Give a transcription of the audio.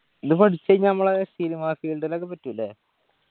പഠിച്ച് കയിഞ്ഞ നമ്മളെ cinema field ഇലൊക്കെ പറ്റു ല്ലേ